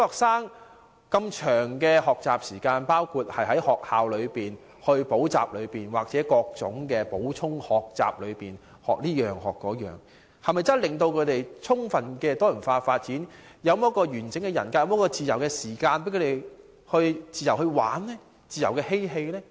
小學生的學習時間這麼長，包括在學校、補習社或各種補充學習各式各樣的東西，是否真的能夠令他們得到充分的多元發展，建立完整人格，他們又是否有自由時間玩耍和嬉戲呢？